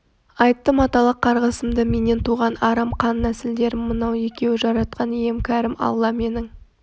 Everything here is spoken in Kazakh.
айттым аталық қарғысымды менен туған арам қан нәсілдерім мынау екеуі жаратқан ием кәрім алла менің